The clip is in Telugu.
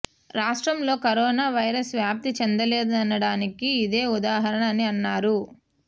రాష్ట్రంలో కరోనా వైరస్ వ్యాప్తి చెందలేదనడానికి ఇదే ఉదాహరణ అని అన్నారు